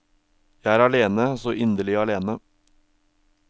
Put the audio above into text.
Jeg er alene, så inderlig alene.